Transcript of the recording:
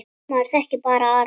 Maður þekkir bara Aron.